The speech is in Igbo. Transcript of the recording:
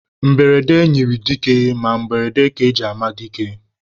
Mberede nyịrị dike ma mberede ka e ji ama dike.